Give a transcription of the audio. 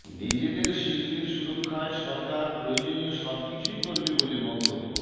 নিজেদের শিল্পের সুরক্ষায় সরকার প্রয়োজনীয় সবকিছুই করবে বলে মন্তব্য